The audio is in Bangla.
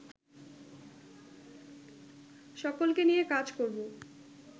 সকলকে নিয়ে কাজ করবো